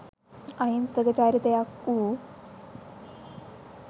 අහිංසක චරිතයක් වූ